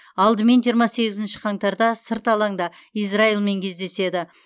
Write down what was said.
алдымен жиырма сегізінші қаңтарда сырт алаңда израильмен кездеседі